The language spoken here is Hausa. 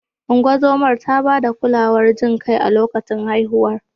Ungozomar ta ba da kulawar jin kai a lokacin haihuwar.